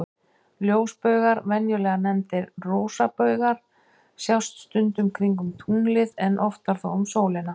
Ljósbaugar, venjulega nefndir rosabaugar, sjást stundum kringum tunglið, en oftar þó um sólina.